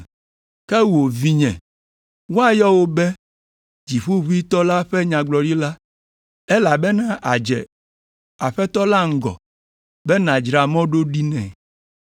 “Ke wò, vinye, woayɔ wò be Dziƒoʋĩtɔ la ƒe Nyagblɔɖila, elabena àdze Aƒetɔ la ŋgɔ be nàdzra mɔ ɖo ɖi nɛ,